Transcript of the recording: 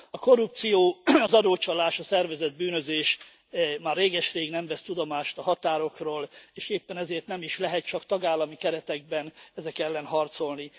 A korrupció, az adócsalás, a szervezett bűnözés már réges rég nem vesz tudomást a határokról, és éppen ezért nem is lehet csak tagállami keretekben ezek ellen harcolni.